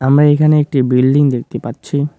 আমরা এখানে একটি বিল্ডিং দেখতে পাচ্ছি।